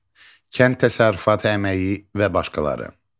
Kənd təsərrüfatı əməyi və başqaları.